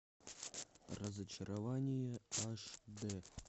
разочарование аш д